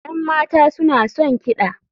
Yan mata suna son kiɗa.